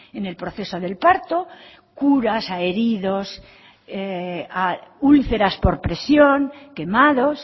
en el proceso del parto curas a heridos úlceras por presión quemados